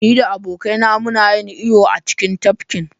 Ni da abokaina muna yin iyo a cikin tafkin.